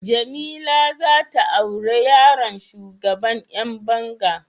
Jamila zata aure yaron shugaban Yan banga.